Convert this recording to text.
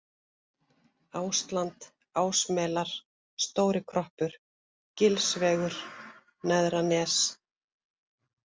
Ásland Ásmelar, Stóri-Kroppur, Gilsvegur, Neðra Nes